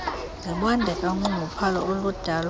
zibondeka unxunguphalo oludalwa